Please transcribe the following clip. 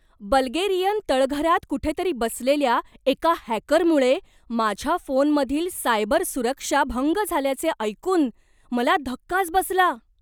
Bulgarian तळघरात कुठेतरी बसलेल्या एका हॅकरमुळे माझ्या फोनमधील सायबर सुरक्षा भंग झाल्याचे ऐकून मला धक्काच बसला.